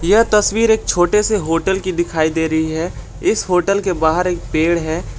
यह तस्वीर एक छोटे से होटल की दिखाई दे रही है इस होटल के बाहर एक पेड़ है।